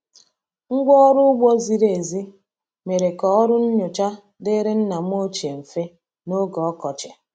Ngwa ọrụ ugbo ziri ezi mere ka ọrụ nnyocha dịrị nna m ochie mfe n’oge ọkọchị.